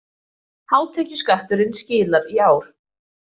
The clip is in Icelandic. Hátekjuskatturinn skilar í ár.